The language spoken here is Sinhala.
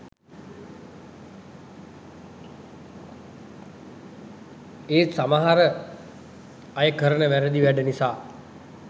ඒත් සමහර අයකරන වැරදි වැඩ නිසා